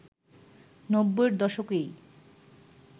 নব্বইয়ের দশকেই